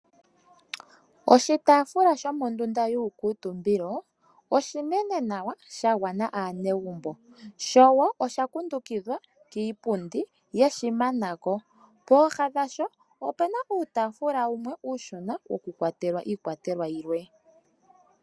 Oshitafula shomondunda yuukutumbilo oshinene nawa shagwna aanegumbo, sho wo oshakundukidhwa kiipundi yeshimanako. Pooha dhasho opuna uutafula wumwe uushona wo kukwatelwa iikwatelwa yilwe.